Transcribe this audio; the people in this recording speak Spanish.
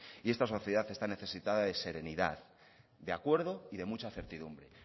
y esta sociedad está necesitada de serenidad de acuerdo y de mucha certidumbre